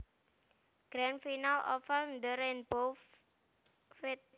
Grand Final Over The Rainbow feat